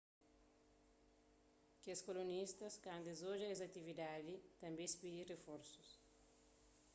kes kolonistas kantu es odja es atividadis tanbê es pidiba riforsus